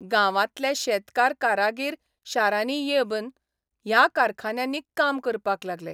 गांवांतले शेतकार कारागीर शारांनी येबन ह्या कारखान्यांनी काम करपाक लागले.